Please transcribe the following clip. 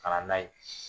Ka na n'a ye